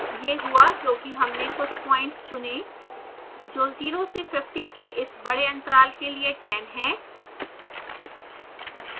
यह हुआ क्योंकि हमने कुछ प्वाइंट्स चुने जो 0 से 50 के इस इस बडे अंतराल के लिए 10 है